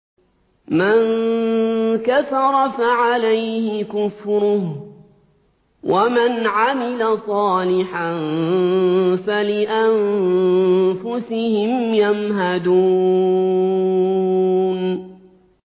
مَن كَفَرَ فَعَلَيْهِ كُفْرُهُ ۖ وَمَنْ عَمِلَ صَالِحًا فَلِأَنفُسِهِمْ يَمْهَدُونَ